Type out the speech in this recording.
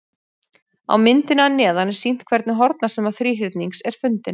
Á myndinni að neðan er sýnt hvernig hornasumma þríhyrnings er fundin.